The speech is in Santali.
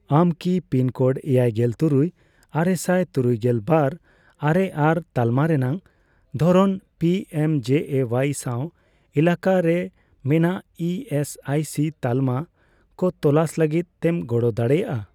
ᱟᱢ ᱠᱤ ᱯᱤᱱ ᱠᱳᱰ ᱮᱭᱟᱭᱜᱮᱞ ᱛᱩᱨᱩᱭ ,ᱟᱨᱮᱥᱟᱭ ᱛᱩᱨᱩᱭᱜᱮᱞ ᱵᱟᱨ ,ᱟᱨᱮ ᱟᱨ ᱛᱟᱞᱢᱟ ᱨᱮᱱᱟᱜ ᱫᱷᱚᱨᱚᱱ ᱯᱤᱮᱢᱡᱮᱮᱣᱟᱭ ᱥᱟᱣ ᱮᱞᱟᱠᱟᱨᱮ ᱢᱮᱱᱟᱜ ᱤ ᱮᱥ ᱟᱭ ᱥᱤ ᱛᱟᱞᱢᱟ ᱠᱚ ᱛᱚᱞᱟᱥ ᱞᱟᱹᱜᱤᱫ ᱛᱮᱢ ᱜᱚᱲᱚ ᱫᱟᱲᱮᱭᱟᱜᱼᱟ ?